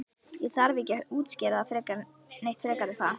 Ég þarf ekkert að útskýra það neitt frekar er það?